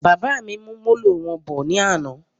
Bàbá mí mú Molo wọn bọ ní àna